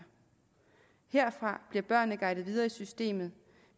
herfra bliver børnene guidet videre i systemet